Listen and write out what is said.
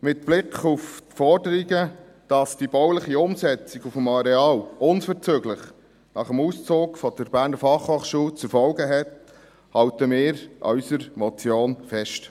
Mit Blick auf die Forderungen, dass die bauliche Umsetzung auf dem Areal unverzüglich nach dem Auszug der BFH zu erfolgen hat, halten wir an unserer Motion fest.